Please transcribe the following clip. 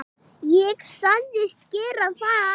Ég sagðist gera það.